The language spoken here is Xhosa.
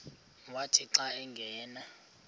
wathi xa angena